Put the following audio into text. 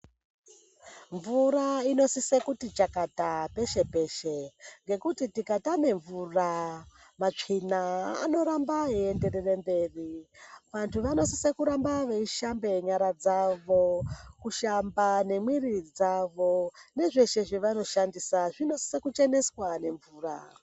Mvura inosise kuti chakata peshe peshe ngekuti tika tame mvura matsvina anoramba eyi enderere mberi vantu vano sise kuramba vei shambe nyara dzavo kushamba ne mwiri dzavo nezveshe zvavano shandisa zvino sisa ku cheneswa ne mvura.